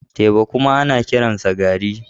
Teba kuma ana kiransa garri